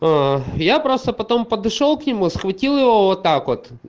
я просто потом подошёл к нему схватил его вот так вот